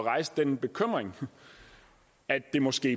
rejse den bekymring at det måske